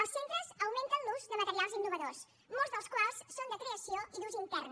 els centres augmenten l’ús de materials innovadors molts dels quals són de creació i d’ús intern